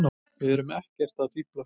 Við erum ekkert að fíflast.